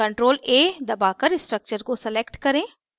ctrl + a दबाकर structure को select करें